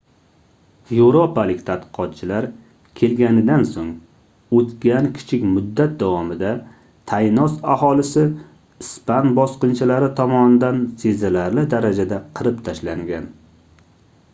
yevropalik tadqiqotchilar kelganidan soʻng oʻtgan kichik muddat davomida taynos aholisi ispan bosqinchilari tomonidan sezilarli darajada qirib tashlangan